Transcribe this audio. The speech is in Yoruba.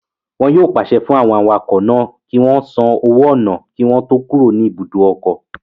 Wọn yóò pàṣẹ fún àwọn awakọ̀ náà kí wọ́n san owó ọnà kí wọ́n tó kúrò ní ibùdó ọkọ̀